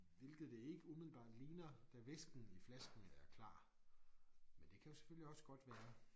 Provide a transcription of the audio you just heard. Hvilket det ikke umiddelbart ligner da væsken i flasken er klar men det kan jo selvfølgelig også godt være